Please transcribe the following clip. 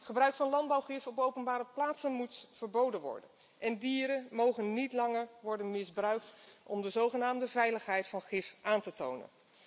Gebruik van landbouwgif op openbare plaatsen moet worden verboden. En dieren mogen niet langer worden misbruikt om de zogenaamde veiligheid van gif aan te tonen.